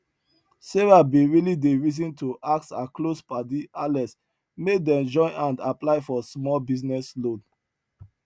sarah bin really dey reason to ask her close padi alex make dem join hand apply for smalll business loan